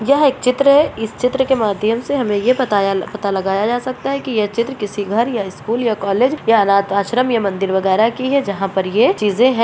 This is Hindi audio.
यह एक चित्र है इस चित्र के माध्यम से हमें ये पताया यह पता लगाया जा सकता है की यह चित्र किसी घर या स्कुल या कॉलेज या अनाथ आश्रम या मंदिर वगेरा की है जहां पर ये चीजे है।